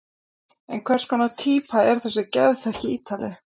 En hvers konar týpa er þessi geðþekki Ítali?